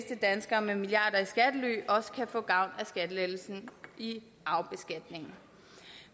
danskere med milliarder i skattely også kan få gavn af skattelettelsen i arvebeskatningen